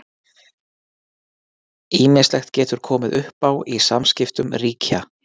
Ýmislegt getur komið upp á í samskiptum ríkja.